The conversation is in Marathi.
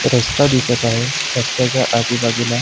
रस्ता दिसत आहे रस्त्याच्या आजूबाजूला--